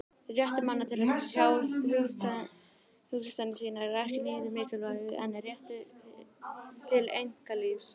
Réttur manna til að tjá hugsanir sínar er ekki síður mikilvægur en rétturinn til einkalífs.